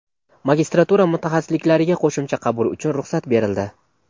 Magistratura mutaxassisliklariga qo‘shimcha qabul uchun ruxsat berildi.